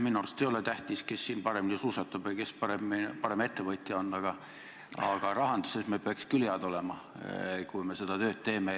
Minu arust ei ole tähtis, kes siin paremini suusatab või kes on parem ettevõtja, aga rahanduses peaksime küll head olema, kui me seda tööd teeme.